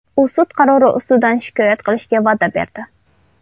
U sud qarori ustidan shikoyat qilishga va’da berdi.